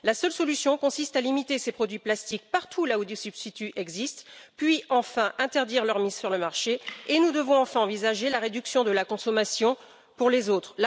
La seule solution consiste à limiter ces produits plastiques partout où des substituts existent puis interdire leur mise sur le marché, et nous devons enfin envisager la réduction de la consommation pour les autres.